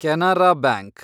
Canara bank